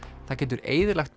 það getur eyðilagt